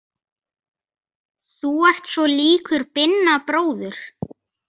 Þú ert svo líkur Binna bróður.